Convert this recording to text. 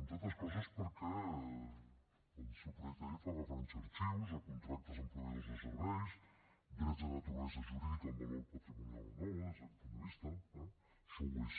entre altres coses perquè el seu projecte de llei fa referència a arxius a contractes amb proveïdors de serveis drets de naturalesa jurídica amb valor patrimonial o no des d’aquest punt de vista eh això ho és